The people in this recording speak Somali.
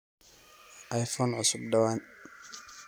iphone cusub dhawaan